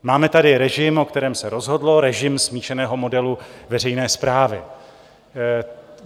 Máme tady režim, o kterém se rozhodlo - režim smíšeného modelu veřejné správy.